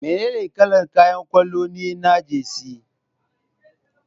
Menene kalar kayan kwallo ne na Jersey?